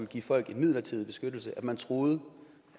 give folk en midlertidig beskyttelse at man troede